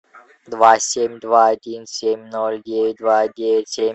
два семь два один семь ноль девять два девять семь